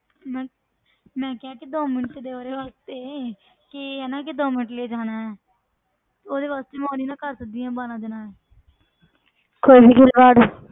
ਮੈਂ ਮੈਂ ਕਿਹਾ ਕਿ ਦੋ ਮਿੰਟ ਦੇ ਉਹਦੇ ਵਾਸਤੇ ਕਿ ਹਨਾ ਕਿ ਦੋ ਮਿੰਟ ਲਈ ਜਾਣਾ ਹੈ ਉਹਦੇ ਵਾਸਤੇ ਮੈਂ ਉਹ ਨੀ ਨਾ ਕਰ ਸਕਦੀ ਵਾਲਾਂ ਦੇ ਨਾਲ ਕੋਈ ਵੀ ਖਿਲਵਾੜ।